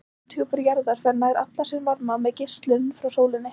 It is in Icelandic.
Lofthjúpur jarðar fær nær allan sinn varma með geislun frá sólinni.